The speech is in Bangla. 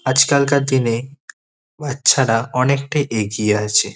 আজকালকার দিনে বাচ্চারা অনেকটা এগিয়ে আছে।